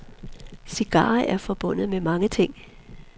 Cigarer er forbundet med mange ting.